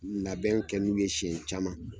Labɛn kɛ n'u ye sɛn caman